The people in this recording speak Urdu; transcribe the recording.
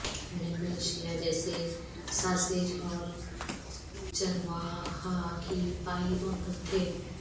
انگلینڈ میں اشیاء جیسے ساسیج اور چرواہا کی پائی مقبول تھے